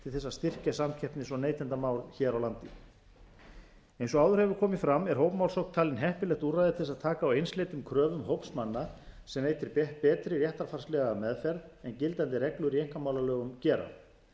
að styrkja samkeppnis og neytendamál hér á landi eins og áður hefur komið fram er hópmálsókn talin heppilegt úrræði til þess að taka á einsleitum kröfum hóps manna sem veitir betri réttarfarslega meðferð en gildandi reglur í einkamálalögum gera einn fulltrúi hóps telst